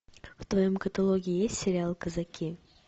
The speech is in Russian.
в твоем каталоге есть сериал казаки